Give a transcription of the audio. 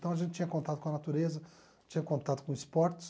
Então, a gente tinha contato com a natureza, tinha contato com esportes.